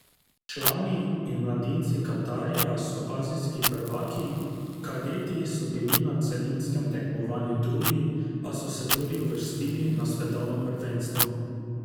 Člani in mladinci Katarja so azijski prvaki, kadeti so bili na celinskem tekmovanju drugi, a so se tudi uvrstili na svetovno prvenstvo.